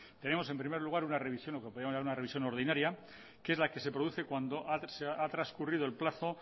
tenemos en primer lugar una revisión lo que podemos llamar una revisión ordinaria que es la que se produce cuando ha trascurrido el plazo